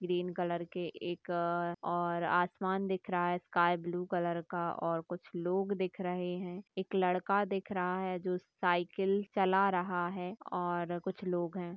Green colour के एक और आसमान दिख रहा है स्काय ब्लू कलर का और कुछ लोग दिख रहे हैं एक लड़का दिख रहा है जो साइकिल चला रहा है और कुछ लोग हैं।